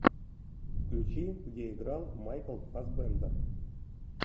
включи где играл майкл фассбендер